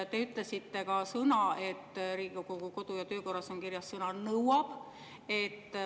Te ütlesite ka, et Riigikogu kodu‑ ja töökorras on kirjas sõna "nõuab".